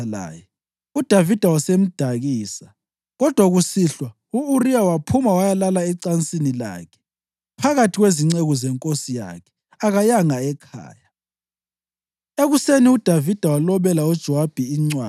Esecelwe nguDavida, wadla wanatha laye, uDavida wasemdakisa. Kodwa kusihlwa u-Uriya waphuma wayalala ecansini lakhe phakathi kwezinceku zenkosi yakhe; akayanga ekhaya.